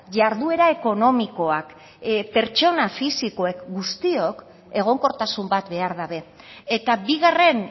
jarduera ekonomikoak pertsona fisikoek guztiok egonkortasun bat behar dute eta bigarren